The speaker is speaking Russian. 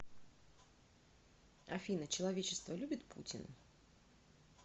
афина человечество любит путина